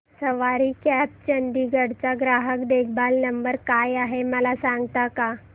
सवारी cabs Chandigarh चा ग्राहक देखभाल नंबर काय आहे मला सांगता का